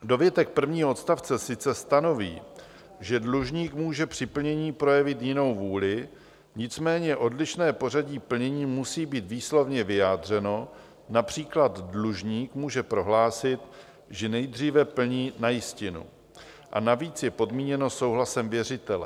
Dovětek prvního odstavce sice stanoví, že dlužník může při plnění projevit jinou vůli, nicméně odlišné pořadí plnění musí být výslovně vyjádřeno, například dlužník může prohlásit, že nejdříve plní na jistinu, a navíc je podmíněno souhlasem věřitele.